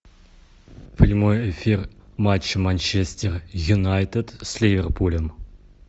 прямой эфир матча манчестер юнайтед с ливерпулем